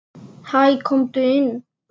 Hæ, komdu inn.